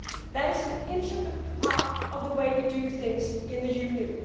That is an integral part of the way we do things in the Union.